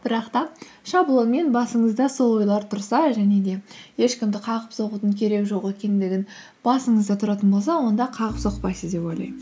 бірақ та шаблонмен басыңызда сол ойлар тұрса және де ешкімді қағып соғудың керегі жоқ екендігін басыңызда тұратын болса онда қағып соқпайсыз деп ойлаймын